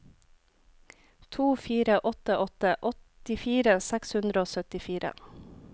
to fire åtte åtte åttifire seks hundre og syttifire